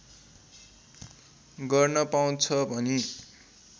गर्न पाउँछ भनी